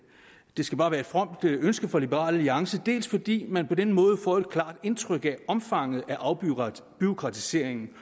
det skal bare være et fromt ønske fra liberal alliance dels fordi man på den måde får et klart indtryk af omfanget af afbureaukratiseringen